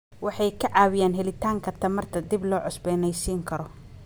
Waxay ka caawiyaan helitaanka tamarta dib loo cusboonaysiin karo.